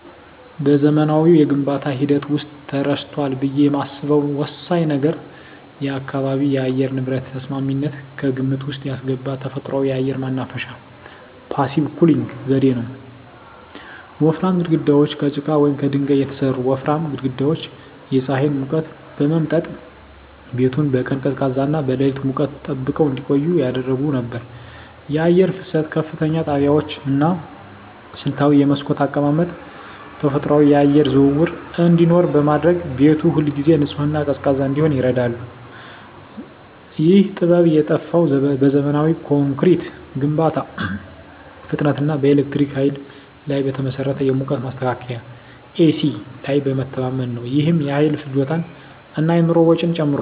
በዘመናዊው የግንባታ ሂደት ውስጥ ተረስቷል ብዬ የማስበው ወሳኝ ነገር የአካባቢ የአየር ንብረት ተስማሚነትን ከግምት ውስጥ ያስገባ ተፈጥሯዊ የአየር ማናፈሻ (Passive Cooling) ዘዴ ነው። ወፍራም ግድግዳዎች: ከጭቃ ወይም ከድንጋይ የተሠሩ ወፍራም ግድግዳዎች የፀሐይን ሙቀት በመምጠጥ ቤቱን በቀን ቀዝቃዛና በሌሊት ሙቀት ጠብቀው እንዲቆይ ያደርጉ ነበር። የአየር ፍሰት: ከፍተኛ ጣሪያዎች እና ስልታዊ የመስኮት አቀማመጥ ተፈጥሯዊ የአየር ዝውውር እንዲኖር በማድረግ ቤቱ ሁልጊዜ ንጹህና ቀዝቃዛ እንዲሆን ይረዳ ነበር። ይህ ጥበብ የጠፋው በዘመናዊ ኮንክሪት ግንባታ ፍጥነት እና በኤሌክትሪክ ኃይል ላይ በተመሠረተ የሙቀት ማስተካከያ (ኤሲ) ላይ በመተማመን ነው። ይህም የኃይል ፍጆታን እና የኑሮ ወጪን ጨምሯል።